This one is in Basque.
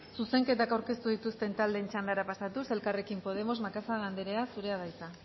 zuzenketak aurkeztu dituzten taldeen txandara pasatuz elkarrekin podemos macazaga anderea zurea da hitza